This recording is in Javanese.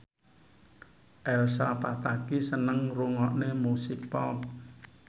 Elsa Pataky seneng ngrungokne musik pop